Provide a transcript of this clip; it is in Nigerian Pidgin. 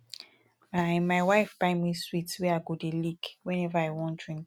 my my wife buy me sweet wey i go dey lick whenever i wan drink